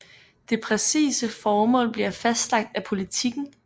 Det præcise formål bliver fastlagt af politikken